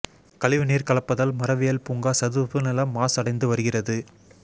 கழிவு நீர் கலப்பதால் மரவியல் பூங்கா சதுப்பு நிலம் மாசடைந்து வருகிறது